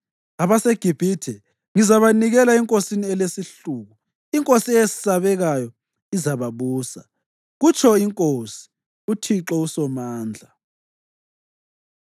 AbaseGibhithe ngizabanikela enkosini elesihluku, inkosi eyesabekayo izababusa,” kutsho iNkosi, uThixo uSomandla.